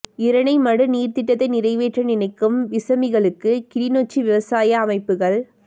இரணைமடு நீர் திட்டத்தை நிறைவேற்ற நினைக்கும் விசமிகளுக்கு கிளிநொச்சி விவசாய அமைப்புக்கள்